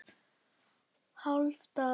hálfan dalinn fylla